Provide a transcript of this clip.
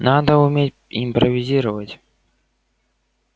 надо уметь импровизировать